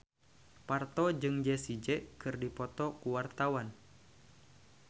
Parto jeung Jessie J keur dipoto ku wartawan